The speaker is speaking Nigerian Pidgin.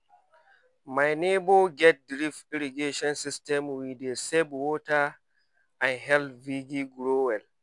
my neighbor get drip irrigation system wey dey save water and help vegi grow well.